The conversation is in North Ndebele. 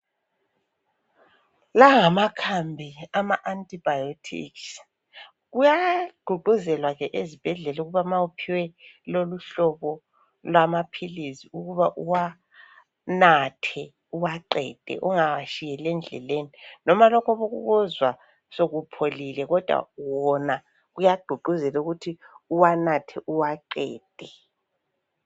La ngamakhambi ama antibiotic. Kuyagqugquzelwa ke ezibhedlel' ukuba ma uphiwe loluhlobo lwamaphilisi ukuba uwanathe uwaqede ungawashiyel' endleleni. Noma lokhu obukuzwa sokupholile kodwa wona kuyagqugquzelwa ukuthi uwanathe uwaqede.